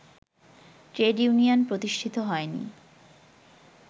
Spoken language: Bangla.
ট্রেড ইউনিয়ন প্রতিষ্ঠিত হয়নি